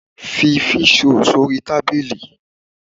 Fi fish roll sórí tábìlì!